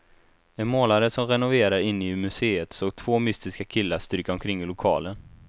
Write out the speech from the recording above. En målare som renoverar inne i museet såg två mystiska killar stryka omkring i lokalen.